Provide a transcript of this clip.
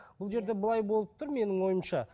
бұл жерде былай болып тұр менің ойымша